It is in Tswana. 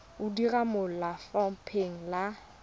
o dira mo lefapheng la